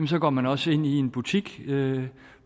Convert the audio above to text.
så går man også ind i en butik